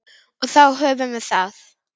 Og þá höfum við það.